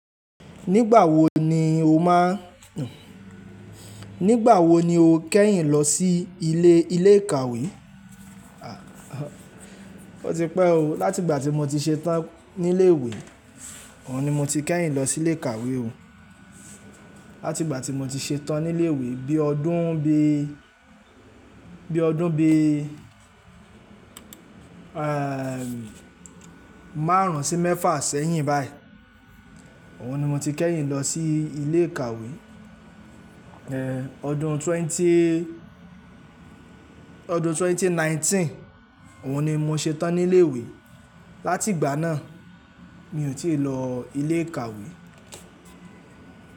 Nígbà wo ni o máa n-- nígbà wo ni o kẹ́yìn lọ sí ilé ilé ìkàwé? Ó ti pẹ́ o, láti ìgbà tí mo ti ṣetán ní ilé ìwé, òhun ni mo ti kẹ́yìn lọ sí ilé ìkàwé o. Láti ìgbà tí mo ti ṣetán ní ilé ìwé bí ọdún bí, bí ọdún bí, ẹ́ẹ́ marun sì mẹ́fà sẹ́yìn báyìí, òhun ni mo ti kẹ́yìn lọ sí ilé ìkàwé. Ẹ̀, ọdún twenty, ọdún 2019 òhun ni mo ṣetán ní ilé ìwé. Láti ìgbà náà mi ò tí ì lọ ilé ìkàwé.